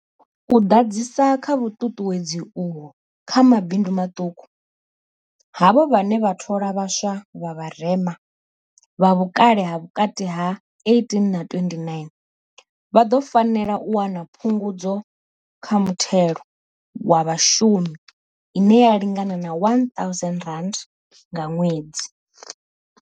U ḓadzisa kha vhuṱuṱuwed zi uho kha mabindu maṱuku, havho vhane vha thola vha swa vha vharema, vha vhukale ha vhukati ha 18 na 29, vha ḓo fanela u wana Phungudzo kha Muthelo wa Vhashumi ine ya lingana R1 000 nga ṅwedzi.